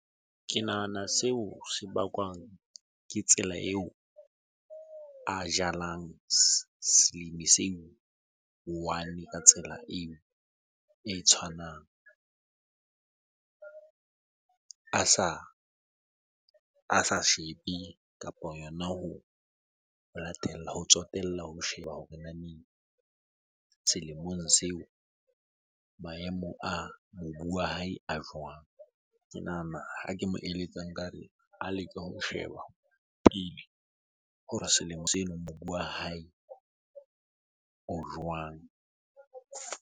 Ke nahana seo se bakwang ke tsela eo a jalang selimi se i-one ka tsela eo e tshwanang. A sa shebe kapo yona ho latella, ho tsotella ho sheba hore selemong seo maemo a mobu wa hae a jwang? Ke nahana ha ke mo eletsang nka re a leke ho sheba pele hore selemo mobu wa hae o jwang?